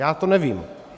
Já to nevím.